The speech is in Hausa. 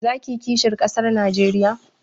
Za ka yi kisihin ƙasar Najeriya?